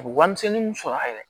A bɛ warimisɛnnin min sɔrɔ a yɛrɛ ye